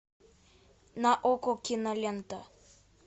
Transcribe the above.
на окко кинолента